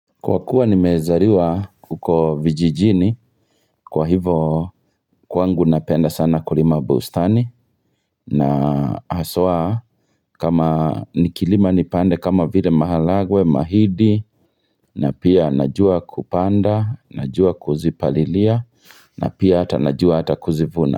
Kwa kuwa nimezaliwa huko vijijini kwa hivo kwangu napenda sana kulima bustani na haswa kama nikilima nipande kama vile maharagwe, mahindi na pia najua kupanda, najua kuzipalilia, na pia najua hata kuzivuna.